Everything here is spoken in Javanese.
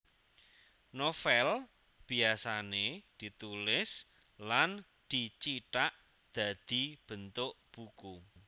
Novèl biyasané ditulis lan dicithak dadi bentuk buku